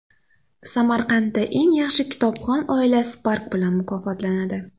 Samarqandda eng yaxshi kitobxon oila Spark bilan mukofotlanadi.